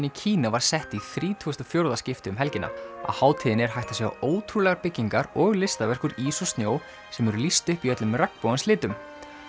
í Kína var sett í þrítugasta og fjórða skipti um helgina á hátíðinni er hægt að sjá ótrúlegar byggingar og listaverk úr ís og snjó sem eru lýst upp í öllum regnbogans litum